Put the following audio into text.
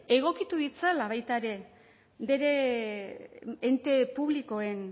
egokitu ditzala baita bere ente publikoen